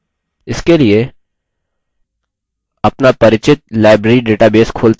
इसके लिए अपना परिचित library database खोलते हैं